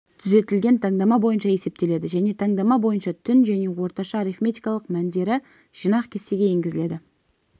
түзетілген таңдама бойынша есептеледі және таңдама бойынша түн және орташа арифметикалық мәндері жинақ кестеге енгізіледі